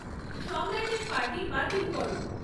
সম্রাটের পার্টি বাতিল করো